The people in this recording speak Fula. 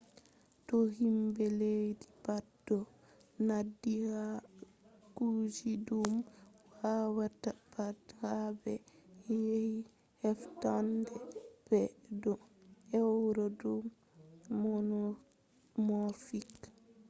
to himɓe leddi pat ɗon nandi ha kuje ɗum wawata pat ha ɓe yahi heftanɓe ɓe ɗon ewna ɗum monomorfic